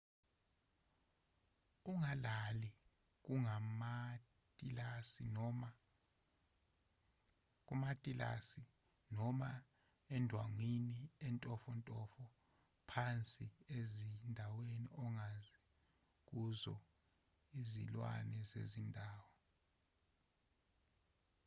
ungalali kumatilasi noma endwangwini entofontofo phansi ezindaweni ongazi kuzo izilwane zendawo